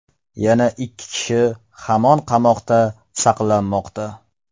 Yana ikki kishi hamon qamoqda saqlanmoqda.